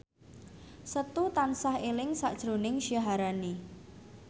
Setu tansah eling sakjroning Syaharani